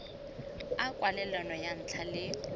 a kwalelano ya ntlha le